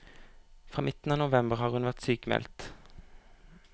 Fra midten av november har hun vært sykmeldt.